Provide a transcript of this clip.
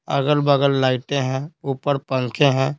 अगल-बगल लाइटें हैं ऊपर पंखे हैं।